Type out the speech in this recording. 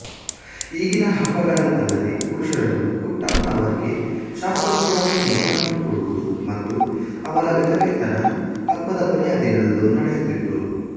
ಈಗಿನ ಹಬ್ಬಗಳಂತಲ್ಲದೇ ಪುರುಷರನ್ನು ಕುಟ್ಟಾಂತವರ್ ಗೆ ಶಾಸ್ತ್ರೋಕ್ತವಾಗಿ ಮದುವೆ ಮಾಡಿಕೊಡುವುದುಮತ್ತು ಅವರ ವಿಧವೆ ತನ ಹಬ್ಬದ ಕೊನೆಯ ದಿನದಂದು ನಡೆಯುತ್ತಿತ್ತು